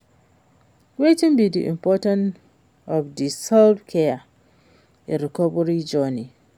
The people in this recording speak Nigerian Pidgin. Wetin be di importance of di self-care in recovery journey?